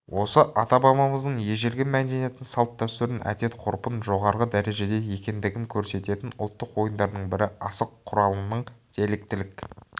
осы ата-бабамыздың ежелгі мәдениетін салт-дәстүрін әдет-ғұрпын жоғарғы дәрежеде екендігін көрсететін ұлттық ойындардың бірі асық құралының диалектілік